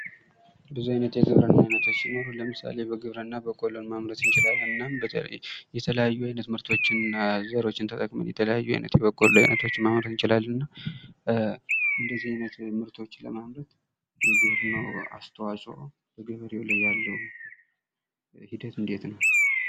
ብዙ ዓይነት የግብርና አይነቶች ሲኖሩ ለምሳሌ በግብርና በቆሎን ማምረት እንችላለን እናም የተለያዩ አይነት ምርቶችንና ዘሮችን ተጠቅመን የተለያዩ አይነት በቆሎችን ማምረት እንችላለን ።እንደዚህ አይነት ምርቶች ለማምረት የግብርናው አስተዋጽኦ በገበሬው ላይ ያለው ሂደት እንዴት ነው ?